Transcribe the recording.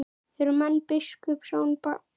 Eru menn biskups á bænum?